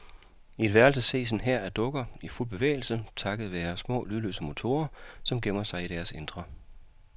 I et værelse ses en hær af dukker i fuld bevægelse takket være små lydløse motorer, som gemmer sig i deres indre.